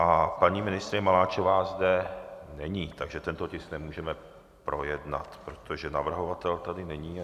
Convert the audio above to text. A paní ministryně Maláčová zde není, takže tento tisk nemůžeme projednat, protože navrhovatel tady není.